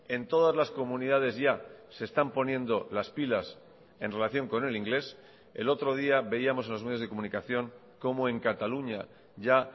en todas las comunidades ya se están poniendo las pilas en relación con el inglés el otro día veíamos en los medios de comunicación cómo en cataluña ya